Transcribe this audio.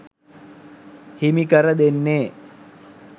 හිමි කර දෙන්නේ